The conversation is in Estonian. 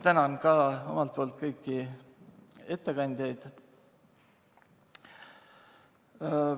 Tänan ka omalt poolt kõiki ettekandjaid.